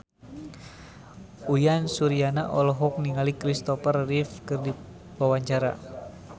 Uyan Suryana olohok ningali Kristopher Reeve keur diwawancara